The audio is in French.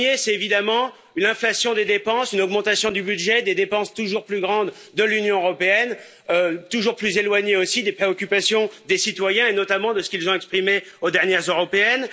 Le premier, c'est l'inflation des dépenses, l'augmentation du budget, des dépenses toujours plus grandes de l'Union européenne, toujours plus éloignées aussi des préoccupations des citoyens et notamment de ce qu'ils ont exprimé aux dernières européennes.